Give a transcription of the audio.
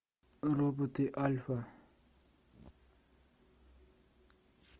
роботы альфа